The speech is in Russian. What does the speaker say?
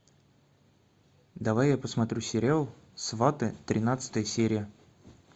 давай я посмотрю сериал сваты тринадцатая серия